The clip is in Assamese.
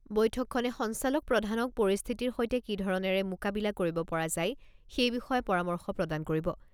বৈঠকখনে সঞ্চালক প্ৰধানক পৰিস্থিতিৰ সৈতে কি ধৰণেৰে মোকাবিলা কৰিব পৰা যায় সেই বিষয়ে পৰামৰ্শ প্ৰদান কৰিব।